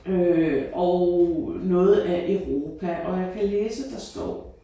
Øh og noget af Europa og jeg kan læse der står